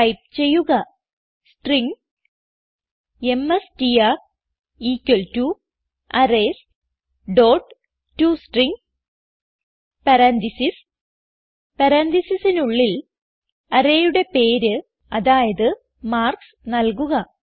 type ചെയ്യുക string M S T R equal to arrays dot to string parenthesis പരാൻതീസിസിനുള്ളിൽ arrayയുടെ പേര് അതായത് മാർക്ക്സ് നല്കുക